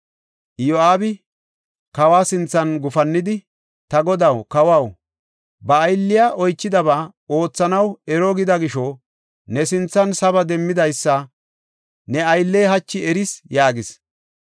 Iyo7aabi kawa sinthan gufannidi, “Ta godaw, kawaw, ba aylley oychidaba oothanaw ero gida gisho, ne sinthan saba demmidaysa ne aylley hachi eris” yaagis.